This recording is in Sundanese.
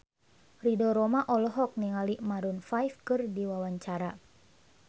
Ridho Roma olohok ningali Maroon 5 keur diwawancara